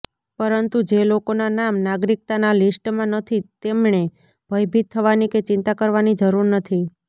પરંતુ જે લોકોના નામ નાગરિકતાના લિસ્ટમાં નથી તેમણે ભયભીત થવાની કે ચિંતા કરવાની જરૂર નથી